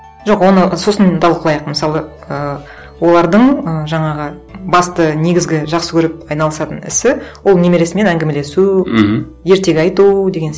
жоқ оны сосын талқылайық мысалы ы олардың ы жаңағы басты негізгі жақсы көріп айналысатын ісі ол немересімен әңгімелесу мхм ертегі айту деген